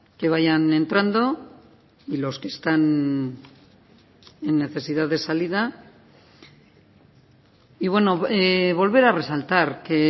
que vayan entrando y los que están en necesidad de salida y bueno volver a resaltar que